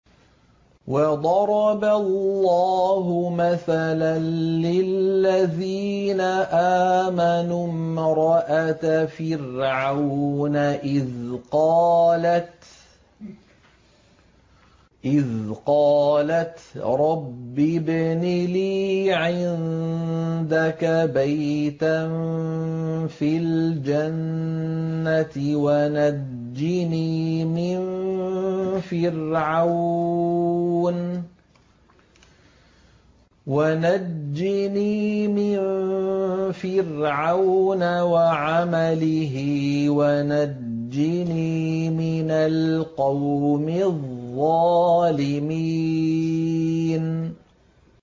وَضَرَبَ اللَّهُ مَثَلًا لِّلَّذِينَ آمَنُوا امْرَأَتَ فِرْعَوْنَ إِذْ قَالَتْ رَبِّ ابْنِ لِي عِندَكَ بَيْتًا فِي الْجَنَّةِ وَنَجِّنِي مِن فِرْعَوْنَ وَعَمَلِهِ وَنَجِّنِي مِنَ الْقَوْمِ الظَّالِمِينَ